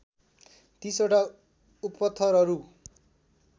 ३० वटा उपथरहरू